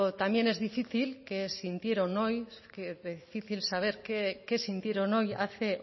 también qué difícil es saber qué sintieron hoy hace